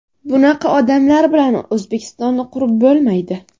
Bunaqa odamlar bilan O‘zbekistonni qurib bo‘lmaydi.